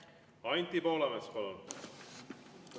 Anti Poolamets, palun!